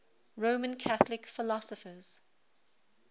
roman catholic philosophers